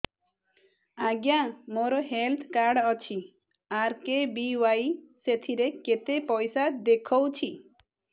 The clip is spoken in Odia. ଆଜ୍ଞା ମୋର ହେଲ୍ଥ କାର୍ଡ ଅଛି ଆର୍.କେ.ବି.ୱାଇ ସେଥିରେ କେତେ ପଇସା ଦେଖଉଛି